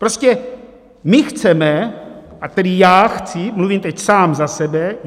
Prostě my chceme - a tedy já chci, mluvím teď sám za sebe.